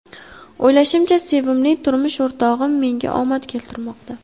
O‘ylashimcha, sevimli turmush o‘rtog‘im menga omad keltirmoqda.